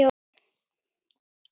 SJÖUNDA STUND